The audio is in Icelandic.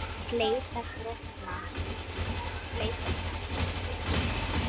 Fley brotna.